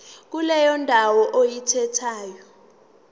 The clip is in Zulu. kuleyo ndawo oyikhethayo